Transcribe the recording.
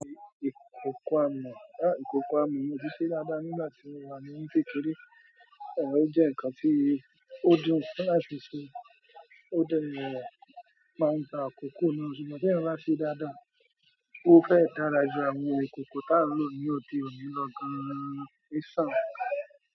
Ìkòkò amọ̀, mo si see dáadáa dáadáa nígbà tí mo wa á ní kékeré. Ẹ o jẹ́ nǹkan tí ó dùn láti sè, ó dẹ máa ń gba akòkó náà ṣùgbọ́n ti eyan ba ṣe dáadáa, ó fẹ́ dára ju àwọn ìkòkò tán ló ní òde òní lọ gan-an méṣàn.